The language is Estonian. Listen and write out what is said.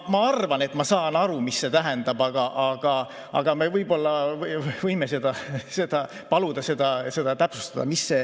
Ma arvan, et ma saan aru, mis see tähendab, aga me võib-olla võime paluda seda täpsustada.